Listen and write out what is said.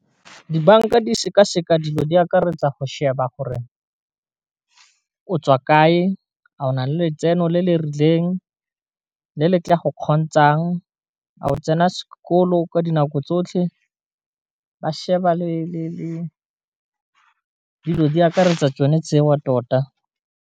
Dibanka di sekaseka dilo di akaretsa go sheba gore o tswa kae ga o na le letseno le le rileng le le tla go kgontshang ao tsena sekolo ka dinako tsotlhe ba sheba le dilo di akaretsa tsone tseo tota.